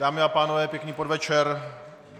Dámy a pánové, pěkný podvečer.